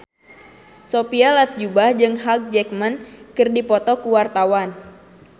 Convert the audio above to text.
Sophia Latjuba jeung Hugh Jackman keur dipoto ku wartawan